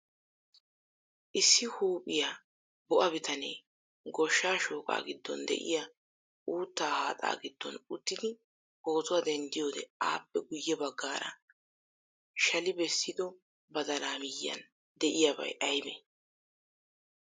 Issi huuphphiya bo'a biitane goshsha shoqqa giddon deiya uuttaa haaxaa giddon uttidi pootuwaa denddiyode appe guye baggaara shale bessida badaala miyiyan deiyabay aybe?